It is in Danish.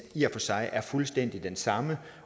i og for sig er fuldstændig den samme